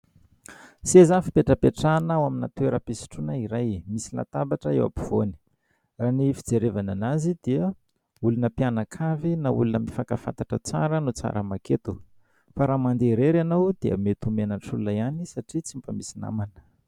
Seza fipetrapetrahana ao amina toeram-pisotroana iray, misy latabatra eo ampovoany, ny fijerevana anazy dia olona mpianakavy na olona mifankafantatra tsara no tsara maketo fa raha mandeha irery ianao dia mety ho menatr'olona ihany satria tsy mba misy namana.